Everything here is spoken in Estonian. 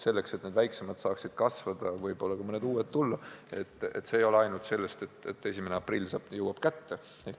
Selleks, et väiksemad saaksid kasvada, võib-olla ka mõned uued tulla, ei piisa sellest, et 1. aprill jõuab kätte.